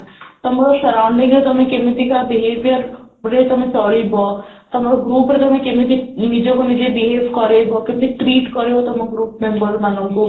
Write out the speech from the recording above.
ତମର surrounding ରେ ତମର କେମିତିକା behavior ଗୋଟେ ତମେ ଚଳିବ ତମର group ରେ ତମେ କେମିତି ନିଜକୁ ନିଜେ behave କରେଇବ କେମିତି trip କରେଇବା ତମ group member ମାନଙ୍କୁ